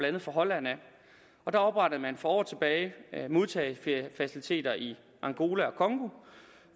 andet fra holland der oprettede man for år tilbage modtagerfaciliteter i angola